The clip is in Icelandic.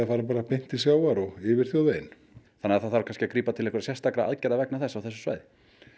fari bara beint til sjávar og yfir þjóðveginn þannig að það þarf að grípa til sérstakra aðgerða vegna þess á þessu svæði